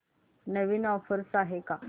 नवीन offers आहेत का